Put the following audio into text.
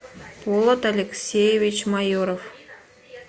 полад алексеевич майоров